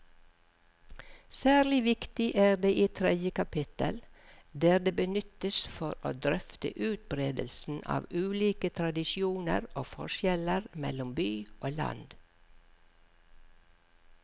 Særlig viktig er det i tredje kapittel, der det benyttes for å drøfte utbredelsen av ulike tradisjoner og forskjeller mellom by og land.